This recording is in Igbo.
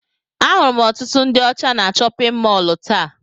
Ahụrụ m ọtụtụ ndị ọcha na chọpịn mọọlụ taa.